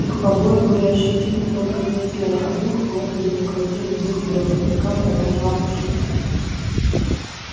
их побои были ощутимы только для тела а дух гордый неукротимый дух белого клыка продолжал бушевать